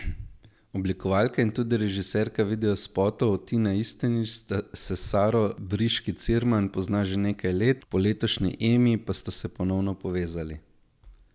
Oblikovalka in tudi režiserka videospotov Tina Istenič se s Saro Briški Cirman pozna že nekaj let, po letošnji Emi pa sta se ponovno povezali.